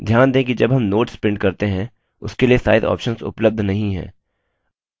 ध्यान दें कि जब हम notes print करते हैं उसके लिए size options उपलब्ध नहीं हैं